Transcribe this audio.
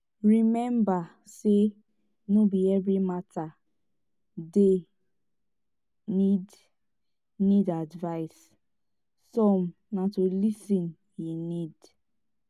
rememba sey no be evri mata dey nid nid advice som na to lis ten e need